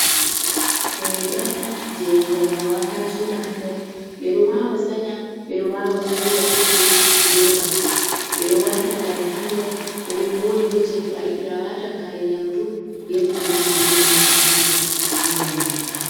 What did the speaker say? Hunde on je diyam wa wata joɗa ha nder ɓe ɗo wawa sanya, ɓe wawa soda bo je roba be wata kare ha nder ɓe bo je to ayiɗi awatan kare yamdu be kunandi be bannin a siga ha nder majuum.